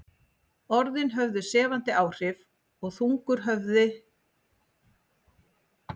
Orðin höfðu sefjandi áhrif og þungur höfgi færðist yfir mig í lok hvers tíma.